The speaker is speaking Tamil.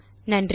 நன்றி